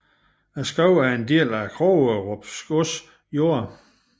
Skoven er en del af Krogerup gods jorder